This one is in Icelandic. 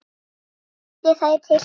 Setjið þær til hliðar.